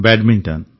badminton